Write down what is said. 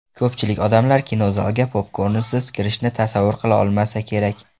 Ko‘pchilik odamlar kinozalga popkornsiz kirishni tasavvur qila olmasa kerak.